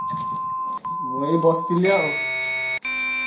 ମୁଁ ଏଇ ବସିଥିଲି ଆଉ।